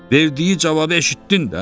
Verdiyi cavabı eşitdin də?